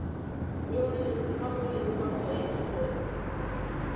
fa go leng matshwanedi gona